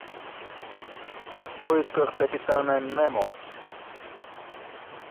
в поисках капитана немо